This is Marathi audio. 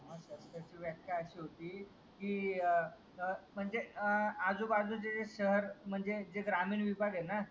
त्याची व्याख्या अशी होती की अं म्हणजे अं आजू बाजूचे शहर म्हणजे ग्रामीण विभाग आहे ना